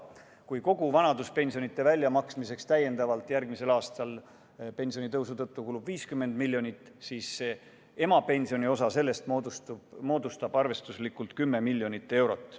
Kui kogu vanaduspensionide väljamaksmiseks kulub järgmisel aastal pensionitõusu tõttu täiendavalt 50 miljonit, siis emapensioni osa selles moodustab arvestuslikult 10 miljonit eurot.